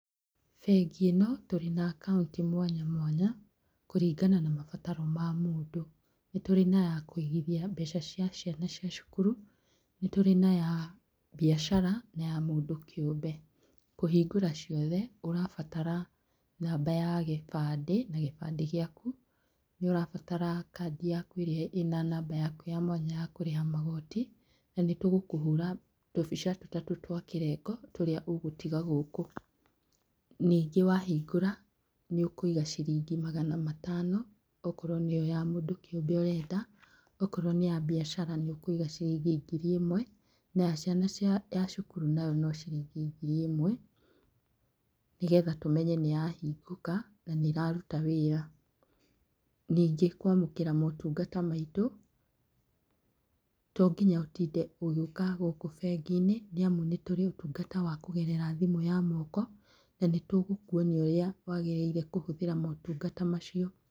Bengi ĩno, tũrĩ na akaunti mwanya mwanya, kũringana na mabataro ma mũndũ. Nĩ tũrĩ na yakũigithia mbeca cia ciana cia cukuru, nĩ tũrĩ na ya mbiacara, na ya mũndũ kĩũmbe. Kũhingũra ciothe, ũrabatara namba ya gĩbandĩ, na gĩbandĩ gĩaku, nĩ ũrabatara kandi yaku ĩrĩa ĩna namba yaku ya mwanya ya kũrĩha magoti, na nĩ tũgũkũhũra tũbica tũtatũ twa kĩrengo, tũrĩa ũgũtiga gũkũ. Ningĩ wahingũra, nĩ ũkũiga ciringi magana matano, okorwo nĩ ĩyo ya mũndũ kĩũmbe ũrenda, okorwo nĩ ya biacara nĩ ũkũiga ciringi ngiri ĩmwe, na ya ciana ya cukuru nayo no ciringi ngiri ĩmwe, nĩgetha tũmenye nĩyahingũka, na nĩ ĩraruta wĩra. Ningĩ kwamũkĩra motungata maitũ, to nginya ũtinde ũgĩũka gũkũ bengi-inĩ, nĩamu nĩ tũrĩ ũtungata wa kũgerera thimũ ya moko, na nĩ tũgũkuonia ũrĩa wagĩrĩire kũhũthĩra motungata macio.